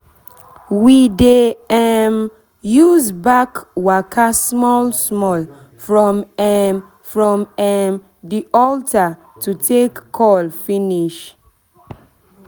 we dey um use back waka small-small um from the um altar to take call finish